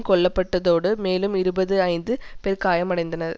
கொல்ல பட்டதோடு மேலும் இருபது ஐந்து பேர் காயமடைந்தனர்